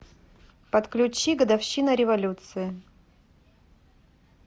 подключи годовщина революции